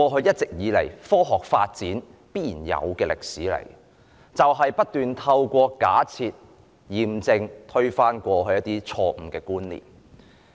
一直以來，科學發展必然的歷史，就是不斷透過假設、驗證推翻過去錯誤的觀念。